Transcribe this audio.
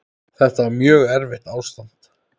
Þetta var mjög erfitt ástand.